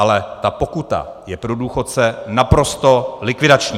Ale ta pokuta je pro důchodce naprosto likvidační.